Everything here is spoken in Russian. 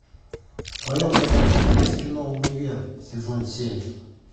в твоем каталоге есть кино универ сезон семь